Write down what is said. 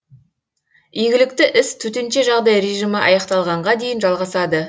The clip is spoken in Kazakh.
игілікті іс төтенше жағдай режимі аяқталғанға дейін жалғасады